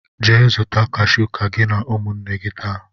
Jee zuta kashu ka gị na ụmụnne gị taa!